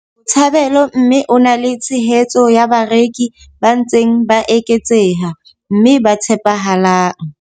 Botshabelo mme o na le tshehetso ya bareki ba ntseng ba eketseha mme ba tshepahalang.